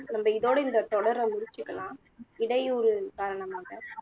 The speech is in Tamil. நம்ப இதோட இந்த தொடர முடிச்சுக்கலாம் இடையூரு காரணமாக